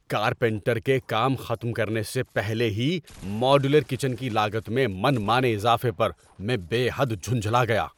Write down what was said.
Carpenter کے کام ختم کرنے سے پہلے ہی ماڈیولر کچن کی لاگت میں من مانے اضافے پر میں بے حد جھنجھلا گیا۔